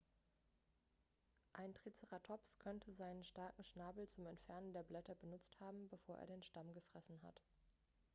ein triceratops könnte seinen starken schnabel zum entfernen der blätter benutzt haben bevor er den stamm gefressen hat